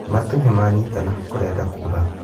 Matũ nĩmanyitana kũrenda kura